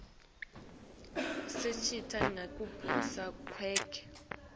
sitjelwa nangekibusa kwakhe